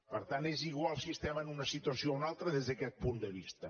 per tant és igual si estem en una situació o una altra des d’aquest punt de vista